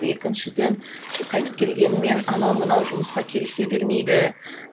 екіншіден қайтып келгенімен анау мынау жұмысқа келісе бермейді